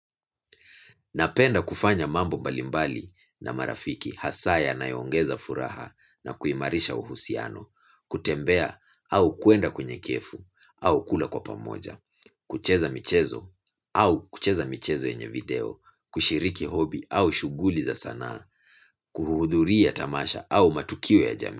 Napenda kufanya mambo mbalimbali na marafiki hasa yanayo ongeza furaha na kuimarisha uhusiano, kutembea au kuenda kwenye kefu au kula kwa pamoja, kucheza michezo au kucheza michezo yenye video, kushiriki hobi au shuguli za saana, kuhuhudhuria tamasha au matukio ya jami.